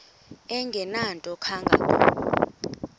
engenanto kanga ko